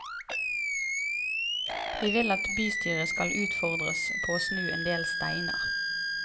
Vi vil at bystyret skal utfordres på å snu en del steiner.